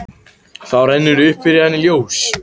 Þá rennur upp fyrir henni ljós.